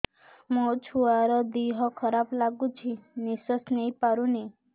ମୋ ଛୁଆର ଦିହ ଖରାପ ଲାଗୁଚି ନିଃଶ୍ବାସ ନେଇ ପାରୁନି